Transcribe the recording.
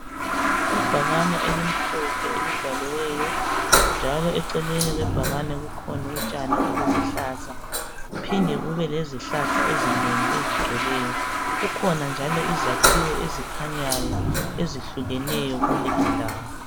Ibhakane elimhlophe elibhaliweyo njalo eceleni kwebhakane kukhona utshani obuluhlaza kuphinde kubelezihlahla ezinengi ezigcweleyo. Kukhona njalo izakhiwo ezikhanyayo ezihlukeneyo kule indawo.